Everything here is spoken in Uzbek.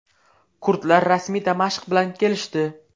Kurdlar rasmiy Damashq bilan kelishdi.